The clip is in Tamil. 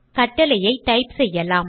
கட்டளையை டைப் செய்யலாம்